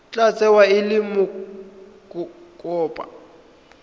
tla tsewa e le mokopa